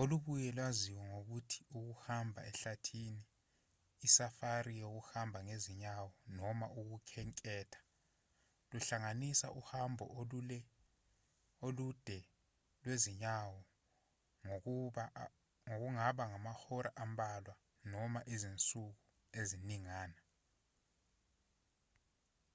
olubuye lwaziwe ngokuthi ukuhamba ehlathini i-safari yokuhamba ngezinyawo noma ukukhenketha luhlanganisa uhambo olude lwezinyawo kungaba amahora ambalwa noma izinsuku eziningana